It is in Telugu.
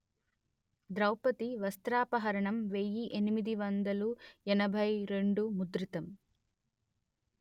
ద్రౌవది వస్త్రాపహరణం వెయ్యి ఎనిమిది వందలు ఎనభై రెండు ముద్రితం